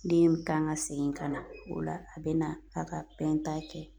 Den kan ka segin ka na, o la a be na a ka kɛ.